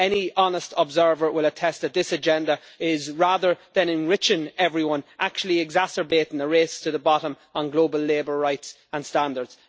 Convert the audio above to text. Any honest observer will attest that this agenda is, rather than enriching everyone, actually exacerbating the race to the bottom on global labour rights and standards.